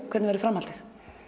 hvernig verður framhaldið